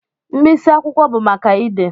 Mkpịsị akwụkwọ bụ maka ide.